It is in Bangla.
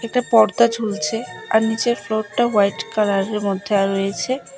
একটা পর্দা ঝুলছে আর নীচের ফ্লোরটা হোয়াইট কালারের মধ্যে আঃ রয়েছে।